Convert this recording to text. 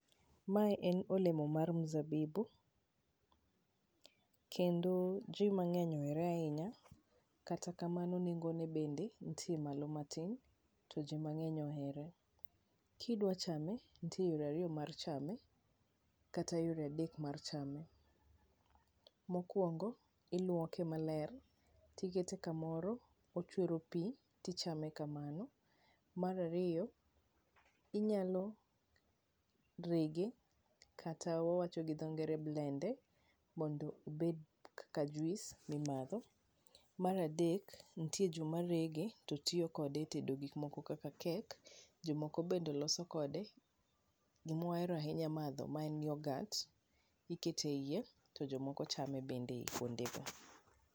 Mae en olemo mar mzabibu kendo ji mang'eny ohere ahinya, kata kamano nengone bende ntie malo matin ti ji mang'eny ohere. Kidwa chame, ntie yore ariyo mar chame kata yore adek mar chame. Mokuongo, iluoke maler, tikete kumoro, ochwero pi tichame kamano. Mar ariyo, inyalo rege kata wawacho gi dho ngere blend e mondo obed kaka juice mimadho. Mar adek ntie joma rege to tiyo kode e tedo gik moko kaka cake, jomoko bende loso kode gima wahero ahinya madho ma en yoghurt ikete ie to jomoko chame bende kuondego.